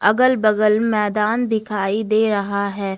अगल बगल मैदान दिखाई दे रहा है।